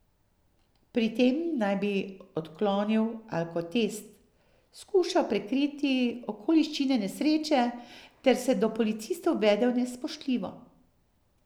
Pri tem naj bi odklonil alkotest, skušal prekriti okoliščine nesreče ter se do policistov vedel nespoštljivo.